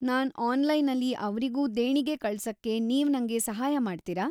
ನಾನ್ ಅನ್ಲೈನಲ್ಲಿ ಅವ್ರಿಗೂ ದೇಣಿಗೆ ಕಳ್ಸಕ್ಕೆ ನೀವ್ ನಂಗೆ ಸಹಾಯ ಮಾಡ್ತೀರಾ?